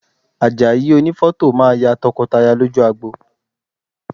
Àjàyí onífọ́tò máa ya tọkọtaya lójú agbo